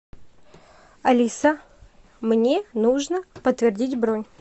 алиса мне нужно подтвердить бронь